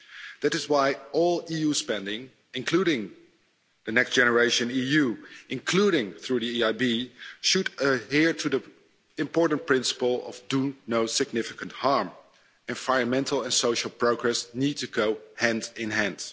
That is why all EU spending, including the Next Generation EU, including through the EIB, should adhere to the important principle of do no significant harm. Environmental and social progress need to go hand-in-hand.